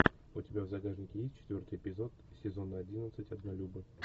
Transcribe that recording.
у тебя в загашнике есть четвертый эпизод сезона одиннадцать однолюбы